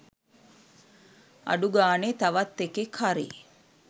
අඩු ගානේ තවත් එකෙක් හරි